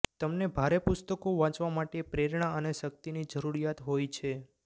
તમને ભારે પુસ્તકો વાંચવા માટે પ્રેરણા અને શક્તિની જરૂરીયાત હોય છે